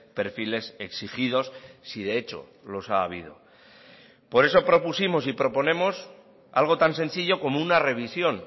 perfiles exigidos si de hecho los ha habido por eso propusimos y proponemos algo tan sencillo como una revisión